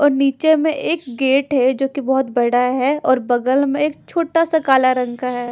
और नीचे मे एक गेट है जो कि बहोत बड़ा है और बगल मे एक छोटा सा काला रंग का है।